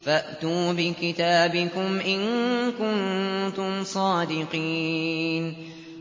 فَأْتُوا بِكِتَابِكُمْ إِن كُنتُمْ صَادِقِينَ